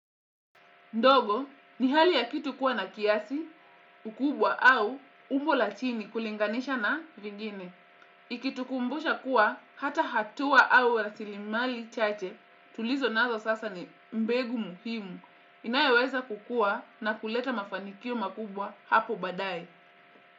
Ndogo, ni hali ya kitu kuwa na kiasi, ukubwa au umbo la chini kulinganisha na vingine. Ikitukumbusha kuwa hata hatua au rasilimali chache tulizonazo sasa ni mbegu muhimu. Inayoweza kukua na kuleta mafanikio makubwa hapo baadaye.